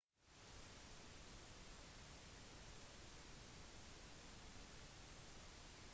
de fleste tv-er er laget for å være til glede for folk generelt